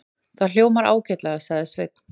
Það hljómar ágætlega, sagði Sveinn.